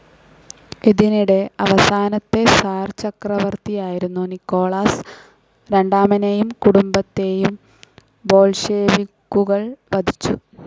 ഇതിനിടെ അവസാനത്തെ സിർ ചക്രവർത്തിയായിരുന്ന നിക്കോളാസ് രണ്ടാമനേയും കുടുംബത്തേയും ബോൾഷെവിക്കുകൾ വധിച്ചു.